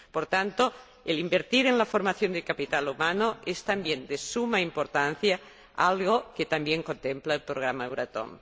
Por tanto, invertir en la formación de capital humano es también de suma importancia, algo que también contempla el Programa Euratom.